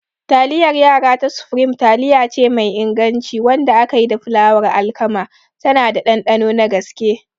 Taliyar yara ta Supreme taliyace mai inganci wadda aka yi da fulawar alkama, tana da ɗanɗano na gaske.